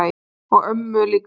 og ömmu líka.